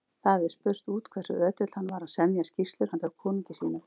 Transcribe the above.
Það hafði spurst út hversu ötull hann var að semja skýrslur handa konungi sínum.